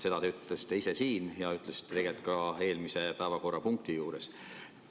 Seda te ütlesite ise siin ja tegelikult ka eelmise päevakorrapunkti juures.